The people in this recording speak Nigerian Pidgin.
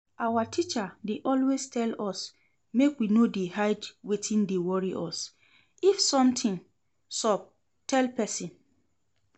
Our teacher dey always tell us make we no dey hide wetin dey worry us, if something sup tell person